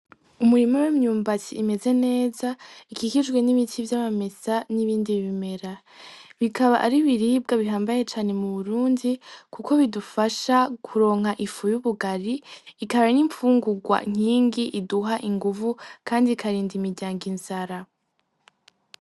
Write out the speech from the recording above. Umurimo w'imyumbati imeze neza ikikijwe n'ibiti vy'amamesa n'ibindi bimera, bikaba ari biribwa bihambaye cane mu burundi, kuko bidufasha kuronka ifu y'ubugari ikaba ari impfungurwa nkingi iduha inguvu, kandi ikarinda imiryango inzara.